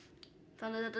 þannig að þetta